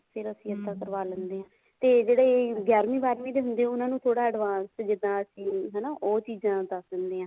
ਫ਼ੇਰ ਅਸੀਂ ਕਰਵਾ ਲੈਂਦੇ ਹਾਂ ਤੇ ਜਿਹੜੇ ਗਿਆਰਵੀ ਬਾਰਵੀਂ ਦੇ ਹੁੰਦੇ ਆ ਉਹਨਾ ਨੂੰ ਥੋੜਾ ਜਾ advance ਜਿੱਦਾਂ ਅਸੀਂ ਹਨਾ ਉਹ ਚੀਜ਼ਾਂ ਦੱਸ ਦਿੰਦੇ ਹਾਂ